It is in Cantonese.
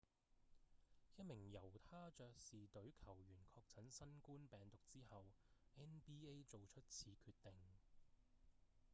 一名猶他爵士隊球員確診新冠病毒之後 nba 做出此決定